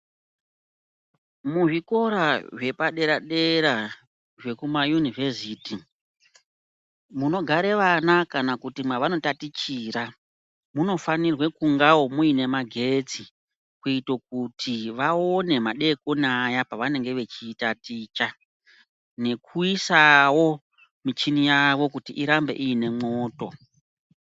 Muzvikora zvepadera dera zvekumayunivhesiti, munogare vana kana kuti mwavanotatichira, munofanirwe kungawo mune magetsi kuitira kuti vaone madekoni aya pavanenge veitaticha, nekuisawo michini yavo kuti irambe ine mwoto.